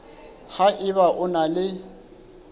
ha eba o na le